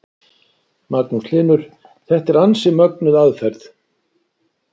Magnús Hlynur: Þetta er ansi mögnuð aðferð?